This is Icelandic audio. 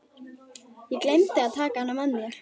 Ég gleymdi að taka hana með mér.